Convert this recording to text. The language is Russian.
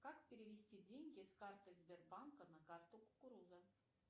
как перевести деньги с карты сбербанка на карту кукуруза